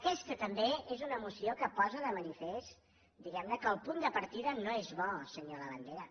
aquesta també és una moció que posa de manifest diguem ne que el punt de partida no és bo senyor labandera